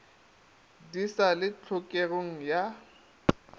di sa le tlhokogeng ya